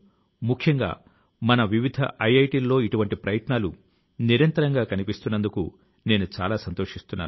ఈ సంవత్సరం మీకు ఇష్టమైన ఐదు పుస్తకాల ను గురించి చెప్పండి అంటూ మన్ కీ బాత్ మనసు లో మాట శ్రోతల ను కూడా నేను అడుగుతున్నాను